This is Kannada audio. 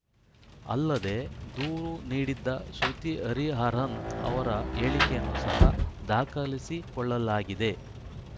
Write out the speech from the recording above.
ಅಲ್ಲದೆ ದೂರು ನೀಡಿದ್ದ ಶ್ರುತಿ ಹರಿಹರನ್‌ ಅವರ ಹೇಳಿಕೆಯನ್ನು ಸಹ ದಾಖಲಿಸಿಕೊಳ್ಳಲಾಗಿದೆ